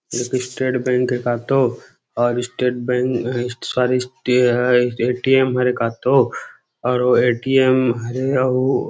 एक State Bank ए का तो और स्टेट बैंक का तो ए_टी_एम और ए_टी_एम हरे अऊ